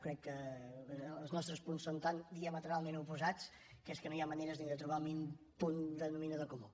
crec que els nostres punts són tan diametralment oposats que és que no hi ha maneres ni de trobar el mínim punt denominador comú